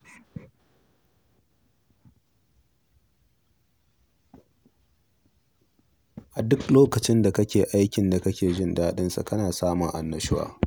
A duk lokacin da kake yin aikin da kake jin daɗin sa, kana samun annashuwa.